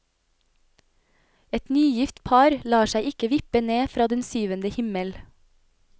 Et nygift par lar seg ikke vippe ned fra den syvende himmel.